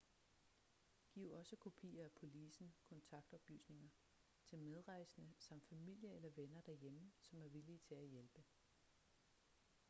giv også kopier af policen/kontaktoplysninger til medrejsende samt familie eller venner derhjemme som er villige til at hjælpe